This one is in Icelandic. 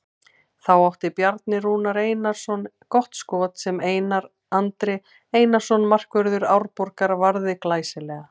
Þá átti Bjarni Rúnar Einarsson gott skot sem Einar Andri Einarsson markvörður Árborgar varði glæsilega.